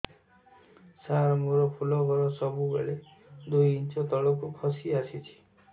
ସାର ମୋର ଫୁଲ ଘର ସବୁ ବେଳେ ଦୁଇ ଇଞ୍ଚ ତଳକୁ ଖସି ଆସିଛି